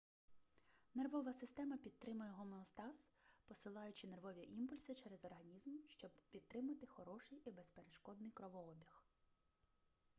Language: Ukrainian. нервова система підтримує гомеостаз посилаючи нервові імпульси через організм щоб підтримати хороший і безперешкодний кровообіг